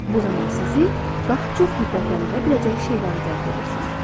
Bu zaman sizi daha çox hiddətləndirə biləcək şeyləri cəzb edirsiz.